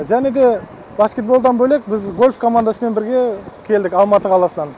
және де баскетболдан бөлек біз гольф командасымен бірге келдік алматы қаласынан